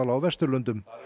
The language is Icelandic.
á Vesturlöndum